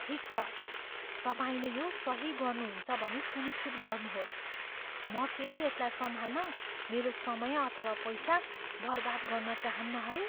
ठिक छ, तपाईँले यो सही गर्नुहुन्छ भनी सुनिश्चित गर्नुहोस्। म फेरि यसलाई सम्हाल्न मेरो समय अथवा पैसा बर्बाद गर्न चाहन्नँ है।